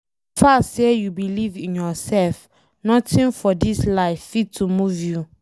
So far sey you believe in yourself, nothing for dis life fit to move you